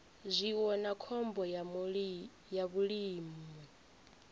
zwiwo na khombo ya vhulimi